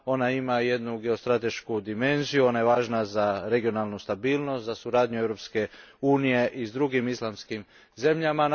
ona ima jednu geostratešku dimenziju, važna je za regionalnu stabilnost, za suradnju Europske unije s drugim islamskim zemljama.